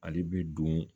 Ale bɛ don